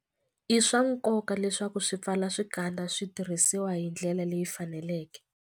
I swa nkoka leswaku swipfalaxikandza swi tirhisiwa hi ndlela leyi faneleke.